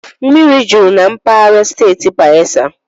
Mmiri jụrụ na mpaghara steeti Bayelsa